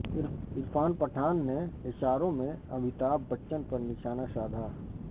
عرفان پٹھان نے اشاروں میں امیتابھ بچن پر نشانہ سادھا